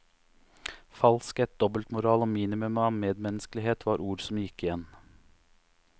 Falskhet, dobbeltmoral og minimum av medmenneskelighet var ord som gikk igjen.